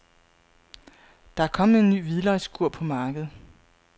Der er kommet en ny hvidløgskur på markedet.